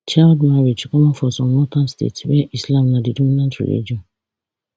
child marriage common for some northern states where islam na di dominant religion